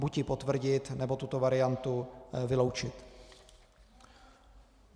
Buď ji potvrdit, nebo tuto variantu vyloučit.